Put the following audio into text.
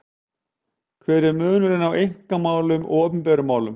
Hver er munurinn á einkamálum og opinberum málum?